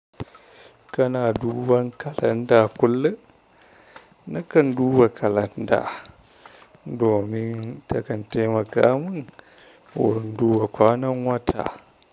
Kana duban kalanda kullum? Nakan duba kalanda domin takan taimaka mun wurin duba kwanan wata.